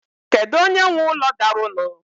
Kedu onye nwe úlọ daru nu?